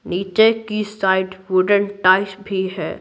नीचे की side wooden tiles भी है।